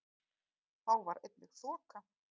Þá var einnig þoka